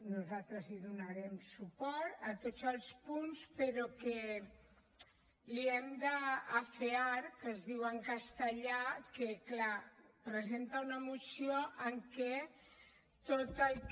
nosaltres hi donarem suport a tots els punts però que li hem d’afearcastellà que clar presenta una moció en què tot el que